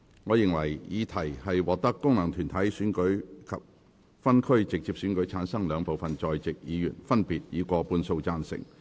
我認為議題獲得經由功能團體選舉產生及分區直接選舉產生的兩部分在席議員，分別以過半數贊成。